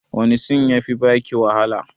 Wani sin ya fi baki wahala?